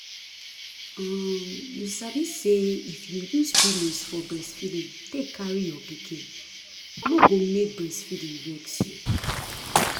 um you sabi say if you use pillows for breastfeeding take carry your pikin no go make breastfeeding vex you